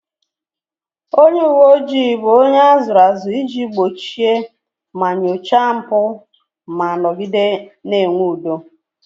Onye uwe ojii bụ onye a zụrụ azụ iji gbochie ma nyochaa mpụ ma nọgide na-enwe udo